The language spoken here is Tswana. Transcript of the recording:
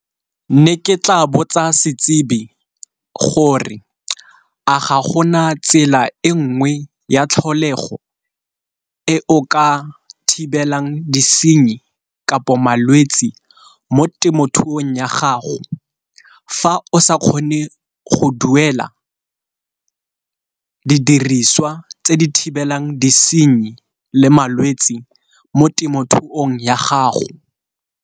Ne ke tla botsa setsibi gore a ga gona tsela e nngwe ya tlholego e o ka thibelang disenyi kapo malwetsi mo temothuong ya gago, fa o sa kgone go duela didiriswa tse di thibelang disenyi le malwetsi mo temothuong ya gago.